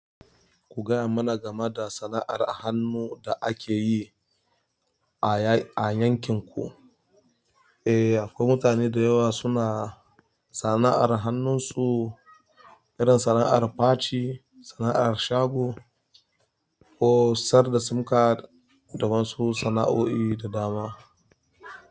Kugaya mana game da sana'ar hannu da akeyi a yankin ku. Eh, akwai mutane da yawa suna sana'ar hannunsu, irin sana'ar faci, sana'ar shago ko sayar da sim card da wasu sana'o'i da dama.